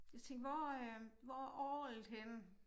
Jeg tænkte hvor øh hvor er orglet henne